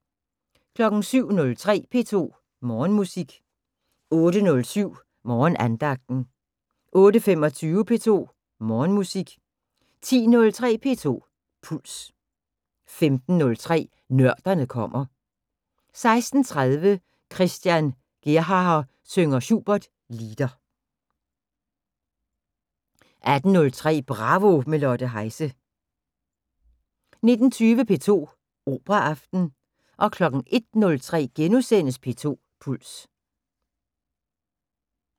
07:03: P2 Morgenmusik 08:07: Morgenandagten 08:25: P2 Morgenmusik 10:03: P2 Puls 15:03: Nørderne kommer 16:30: Christian Gerhaher synger Schubert Lieder 18:03: Bravo – med Lotte Heise 19:20: P2 Operaaften 01:03: P2 Puls *